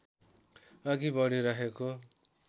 अघि बढी रहेको